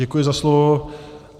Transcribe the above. Děkuji za slovo.